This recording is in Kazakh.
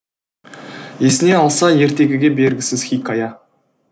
есіне алса ертегіге бергісіз хикая